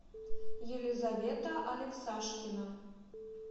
елизавета алексашкина